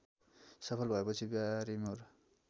सफल भएपछि ब्यारिमोर